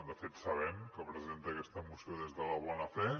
de fet sabem que presenta aquesta moció des de la bona fe